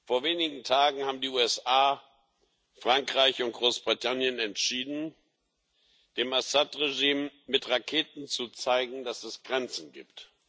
Vor wenigen Tagen haben die USA, Frankreich und Großbritannien entschieden, dem Assad Regime mit Raketen zu zeigen, dass es Grenzen gibt.